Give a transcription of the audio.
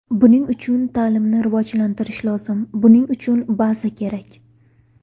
Buning uchun ta’limnini rivojlantirish lozim, buning uchun baza kerak.